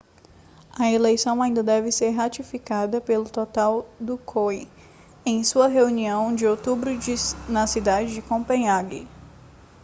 a eleição ainda deve ser ratificada pelo total do coi em sua reunião de outubro na cidade de copenhague